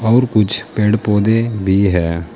और कुछ पेड़ पौधे भी है।